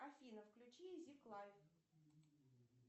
афина включи зик лайф